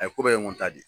A ye ko bɛɛ ye ŋo ta de